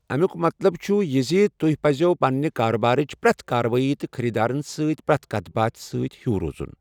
امیُک مطلب چھُ یہِ زِ تۄہہِ پزوٕ پننہِ کارٕبارٕچ پرٮ۪تھ کارروٲئی تہٕ خٔریٖدارن سۭتۍ پرٮ۪تھ کَتھ باتھ سۭتۍ ہیوٗ روزُن۔